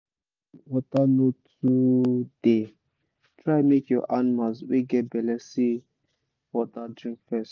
when water no tooo dey try make your animals wey get belle see water drink fes